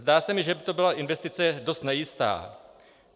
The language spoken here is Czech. Zdá se mi, že by to byla investice dost nejistá.